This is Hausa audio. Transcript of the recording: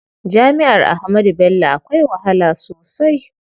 Jami'ar Ahmadu Bello akwai wahala sosai.